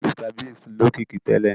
Mr Biggs lókìkí tẹ́lẹ̀